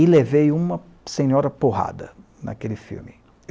e levei uma senhora porrada naquele filme.